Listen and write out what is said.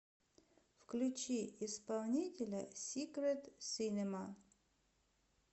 включи исполнителя сикрет синема